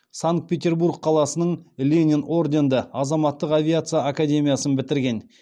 санкт петербург қаласының ленин орденді азаматтық авиация академиясын бітірген